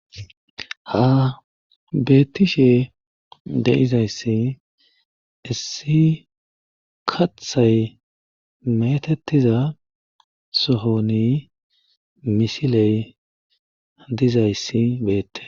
ha beettishe deizayssi issi kathay metettiza sohoni misiley dizayssi beette